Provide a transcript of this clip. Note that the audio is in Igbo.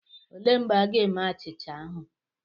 Elee mgbe a ga-eme achịcha ahụ?